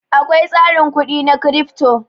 Akwai tsarin kudi na Crypto.